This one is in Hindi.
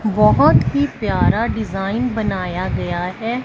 बहोत ही प्यारा डिजाइन बनाया गया है।